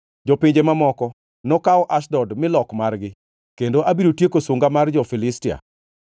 Jopinje mamoko nokaw Ashdod milok margi kendo abiro tieko sunga mar jo-Filistia.